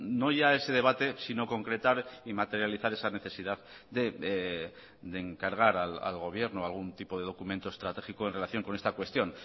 no ya ese debate sino concretar y materializar esa necesidad de encargar al gobierno algún tipo de documento estratégico en relación con esta cuestión